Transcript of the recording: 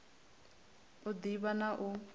u d ivha na u